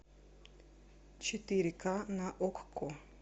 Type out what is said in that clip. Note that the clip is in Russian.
четыре ка на окко